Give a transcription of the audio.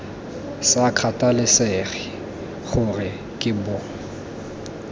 sa kgathalesege gore ke bo